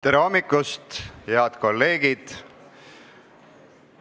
Tere hommikust, head kolleegid!